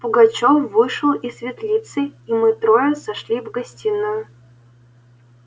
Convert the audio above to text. пугачёв вышел из светлицы и мы трое сошли в гостиную